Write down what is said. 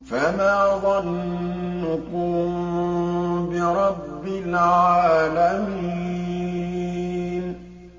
فَمَا ظَنُّكُم بِرَبِّ الْعَالَمِينَ